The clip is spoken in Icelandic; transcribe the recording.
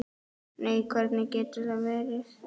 Nei, hvernig getur það verið?